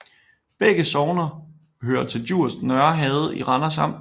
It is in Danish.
Begge sogne hørte til Djurs Nørre Herred i Randers Amt